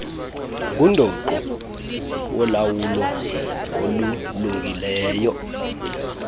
ngundoqo wolawulo olulungileyo